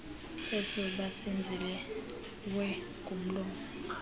eso besenziwe ngomlomo